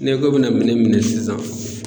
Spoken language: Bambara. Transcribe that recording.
Ni ko i bɛna minɛn minɛ sisan.